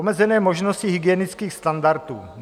Omezené možnosti hygienických standardů.